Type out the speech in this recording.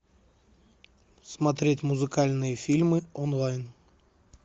смотреть музыкальные фильмы онлайн